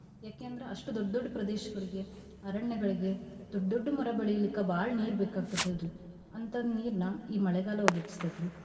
ಯಾಕೆಂದ್ರ ಅಷ್ಟು ದೊಡ್ಡ್ ದೊಡ್ಡ್ ಪ್ರದೇಶಗಳಿಗೆ ಅರಣ್ಯಗಳಿಗೆ ದೊಡ್ಡ್ ದೊಡ್ಡ್ ಮರ ಬೆಳೀಳ್ಲಿಕ್ಕ ಬಾಳ್ ನೀರ್ಬೇಕಾಕ್ತೇತಲ್ರಿ ಅಂತಾ ನೀರ್ನಾ ಈ ಮಳೆಗಾಲ ಒದ್ಗ್ಸತತ್ರಿ.